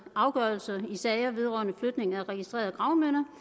afgørelser i sager vedrørende flytning af registrerede gravminder